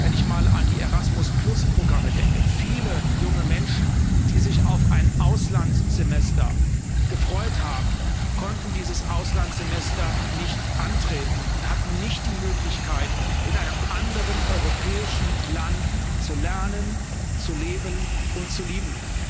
Wenn ich einmal an die Erasmus Programme denke Viele junge Menschen, die sich auf ein Auslandssemester gefreut haben, konnten dieses Auslandssemester nicht antreten und hatten nicht die Möglichkeit, in einem anderen europäischen Land zu lernen, zu leben und zu lieben.